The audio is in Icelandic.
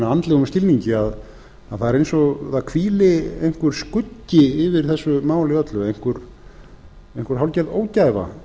andlegum skilningi að það er eins og það hvíli einhver skuggi yfir þessu máli öllu einhver hálfgerð ógæfa